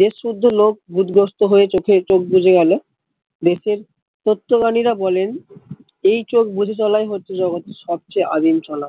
দেশ শুদ্ধ লোক ভুত গ্রস্ত হয়ে চোখে চোখ বুজে গেলো দেশের তত্ত্বগামী রা বলেন এই চোখ বুজে চলাই হচ্ছে সবচেয়ে আদিম চলা